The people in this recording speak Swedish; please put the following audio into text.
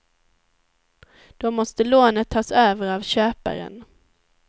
Då måste lånet tas över av köparen.